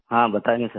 हाँ बताएँगे सर